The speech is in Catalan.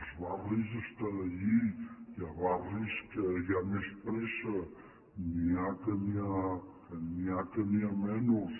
els barris estan allí hi ha barris que hi ha més pressa n’hi ha que n’hi ha menys